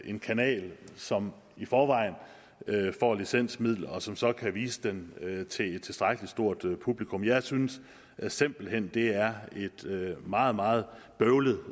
en kanal som i forvejen får licensmidler og som så kan vise den til et tilstrækkelig stort publikum jeg synes simpelt hen det er et meget meget bøvlet